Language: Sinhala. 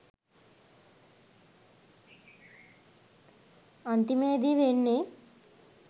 අන්තිමේදි වෙන්නෙ